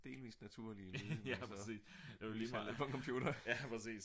delvist naturlige lyde man ser sætter ind på en computer ik